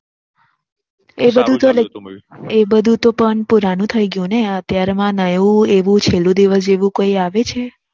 એ બધું તો Like એ બધું તો પણ પુરાણું થઇ ગયું ને અત્યારે માં નવું એવું છેલ્લો દિવસ જેવું કઈ આવ્યું છે